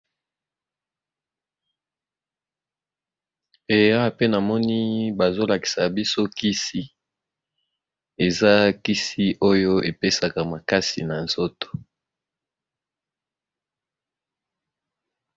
Eya pe namoni bazolakisa biso kisi, eza kisi oyo epesaka makasi na nzoto.